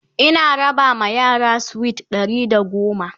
Ina raba ma yara sweet Ɗari da goma